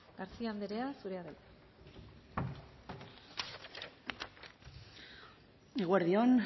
garcía anderea zurea da hitza eguerdi on